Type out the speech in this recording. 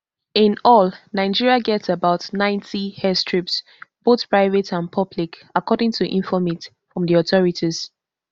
in all nigeria get about ninety airstrips both private and public according to informate from di authorities